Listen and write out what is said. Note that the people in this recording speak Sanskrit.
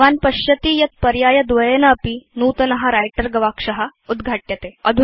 भवान् पश्यति यत् पर्यायद्वयेनापि नूतन व्रिटर गवाक्ष उद्घाट्यते